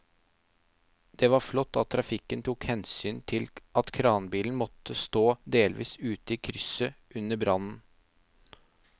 Det var flott at trafikken tok hensyn til at kranbilen måtte stå delvis ute i krysset under brannen.